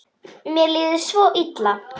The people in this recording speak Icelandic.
Mér líður svo illa